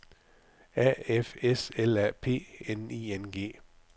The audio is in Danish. A F S L A P N I N G